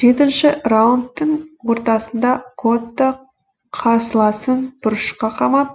жетінші ші раундтың ортасында котто қарсыласын бұрышқа қамап